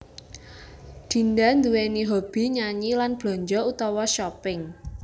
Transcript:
Dinda nduwèni hoby nyanyi lan blanja utawa shopping